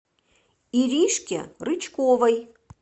иришке рычковой